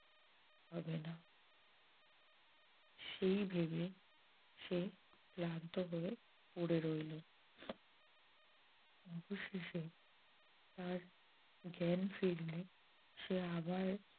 হবে না সেই ভেবে সে ক্লান্ত হয়ে পড়ে রইল। অবশেষে তার জ্ঞান ফিরলে সে আবার